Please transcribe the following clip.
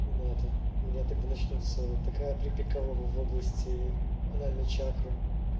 не надо у меня тогда начнётся такая припекало в области анальной чакры